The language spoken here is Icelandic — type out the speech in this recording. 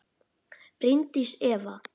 Bryndís Eva.